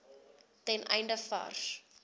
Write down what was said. ten einde vars